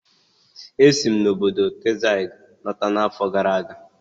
E si m obodo Texas lọta n'afọ gara aga